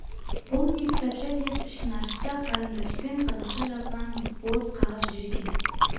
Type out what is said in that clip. бұл не кітапша деп ішін ашса қарындашпен қазақша жазған бос қағаз жүр екен